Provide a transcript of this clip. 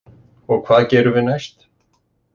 Og hvað gerum við næst?